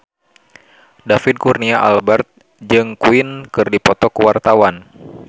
David Kurnia Albert jeung Queen keur dipoto ku wartawan